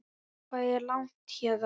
Hvað er langt héðan?